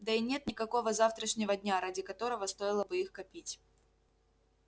да и нет никакого завтрашнего дня ради которого стоило бы их копить